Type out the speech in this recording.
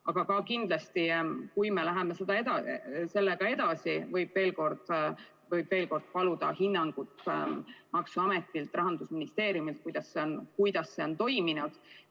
Aga ka kindlasti, kui me läheme sellega edasi, võib veel kord paluda maksuametilt ja Rahandusministeeriumilt hinnangut, kuidas see on toiminud.